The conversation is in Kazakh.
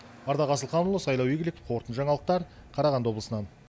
ардақ асылханұлы сайлау игіліков қорытынды жаңалықтар қарағанды облысынан